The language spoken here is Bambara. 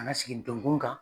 A ka sigi ndonkun kan.